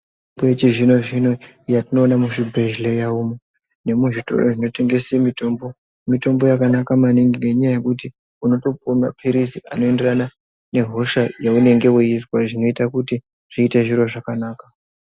Mitombo yechizvino-zvino yatinoone muzvibhedhleya umu nemuzvitoro zvinotengese mitombo, mitombo yakanaka maningi nenyaya yekuti unotopuwe maphirizi anoenderana nehosha yaunenge weizwa zvinoita kuti zviite zviro zvakanaka.